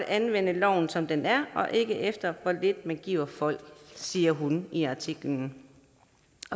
anvende loven som den er og ikke efter hvor lidt man giver folk siger hun i artiklen